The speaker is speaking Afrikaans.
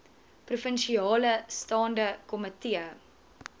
provinsiale staande komitee